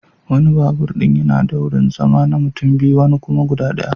Wani babur din yana da wurin zama na mutum biyu wani kuma guda daya.